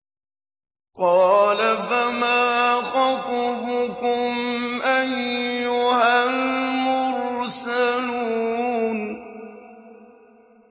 ۞ قَالَ فَمَا خَطْبُكُمْ أَيُّهَا الْمُرْسَلُونَ